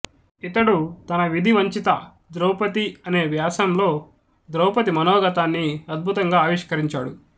ఇతడు తన విధి వంచిత ద్రౌపది అనే వ్యాసంలో ద్రౌపది మనోగతాన్ని అద్భుతంగా ఆవిష్కరించాడు